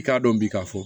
I k'a dɔn bi k'a fɔ